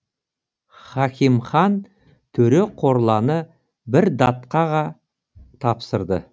хакимхан төре корланы бір датқаға тапсырды